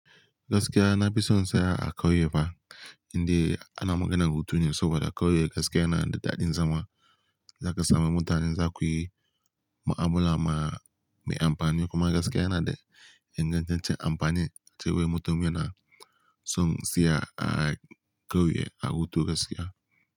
Gaskiya na fi son in tsaya a kauye fa, indai ana magana da hutu ne saboda kauye gaskiya na da daɗin zama. Zaka samu mutanen zakuyi mu'amala ma mai amfani kuma gaskiya na da ingantaccen amfani. Sai wai mutumin na son siya a kauye a hutu gaskiya.